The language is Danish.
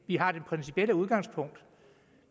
vi har det principielle udgangspunkt